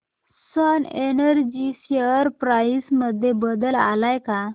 Swan energy share price मध्ये बदल आलाय का